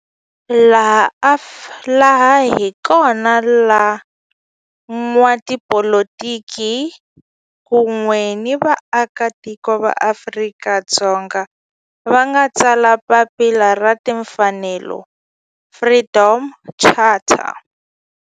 Laha hi kona la van'watipolitiki kun'we ni vaaka tiko va Afrika-Dzonga va nga tsala papila ra timfanelo, Freedom Charter.